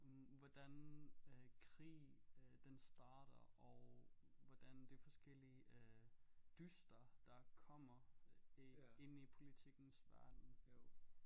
Hvordan øh krig øh den starter og hvordan de forskellige øh dyster der kommer inde i politikkens verden jo